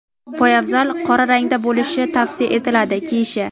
poyabzal (qora rangda bo‘lishi tavsiya etiladi) kiyishi;.